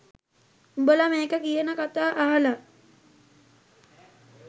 උඹලා මේක කියන කතා අහලා